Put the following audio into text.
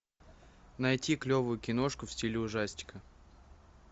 найти клевую киношку в стиле ужастика